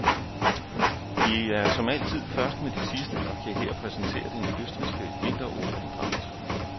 Vi er som altid først med det sidste og kan her præsentere den østrigske vinter-OL-dragt.